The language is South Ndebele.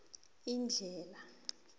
indlhela